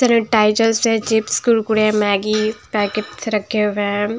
तरह टाइजरस हैं चिप्स कुरकुरे मैगी पैकट्स रखे हुए हैं।